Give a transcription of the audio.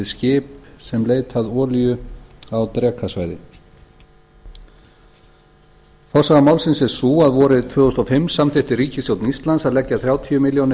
skip sem leita olíu á drekasvæði forsaga málsins er sú að vorið tvö þúsund og fimm samþykkti ríkisstjórn íslands að leggja þrjátíu milljónir